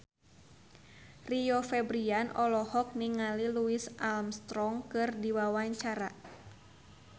Rio Febrian olohok ningali Louis Armstrong keur diwawancara